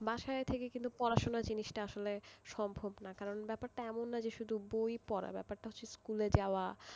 বাসায় থেকে কিন্তু আর বাসায় থেকে কিন্তু পড়াশুনো জিনিসটা বাসায় থেকে সম্ভব না কারণ ব্যাপারটা এমন নয় যে শুধু বই পড়া, ব্যাপারটা হচ্ছে স্কুলে যাওয়া